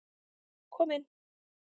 Kom inn.